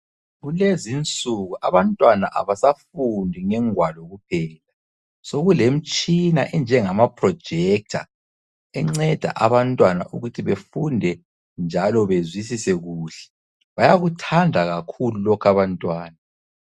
Kulezinsuku abantwana abasafundi ngengwalo kuphela sokulemtshina enjengama projetha, enceda abantwana ukuthi befunde njalo bezwisise kuhle. Bayakuthanda kakhulu lokhu abantwana.